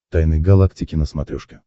тайны галактики на смотрешке